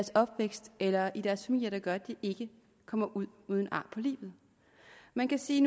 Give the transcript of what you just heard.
opvækst eller i deres familie der gør at de ikke kommer ud uden ar på livet man kan sige